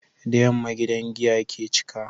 Da yamma gidan giya ke cika